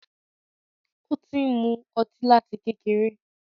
Ó ti ń mú ọtí láti kékeré.